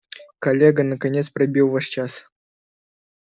коллега наконец пробил ваш час